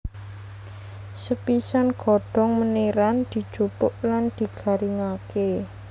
Sepisan godhong meniran dijupuk lan digaringké